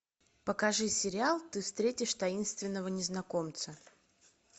покажи сериал ты встретишь таинственного незнакомца